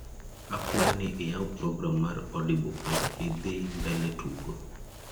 akwayo ni iyaw program mar audible kendo idhi mbele tugo